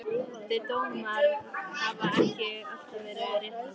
Þeir dómar hafa ekki alltaf verið réttlátir.